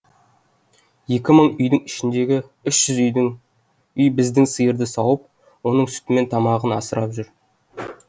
екі мың үйдің ішіндегі үш жүз үй біздің сиырды сауып оның сүтімен тамағын асырап тұр